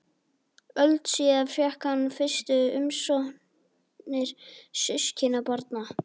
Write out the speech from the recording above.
Öld síðar fékk hann fyrstu umsóknir systkinabarna.